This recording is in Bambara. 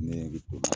Nege to